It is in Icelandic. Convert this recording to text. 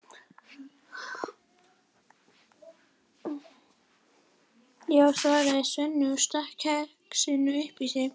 Já, svaraði Sveinn og stakk kexinu upp í sig.